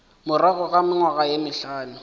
morago ga mengwaga ye mehlano